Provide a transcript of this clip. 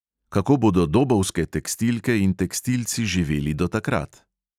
Kako bodo dobovske tekstilke in tekstilci živeli do takrat?